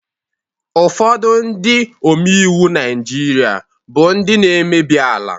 Ụfọdụ Ndị omeiwu Naijiria bu Ndị n' emebiela